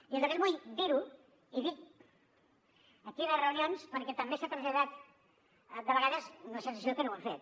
i a més vull dir ho i dic a quines reunions perquè també s’ha traslladat de vegades una sensació que no ho hem fet